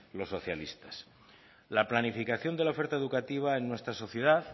los socialistas la planificación de la oferta educativa en nuestra sociedad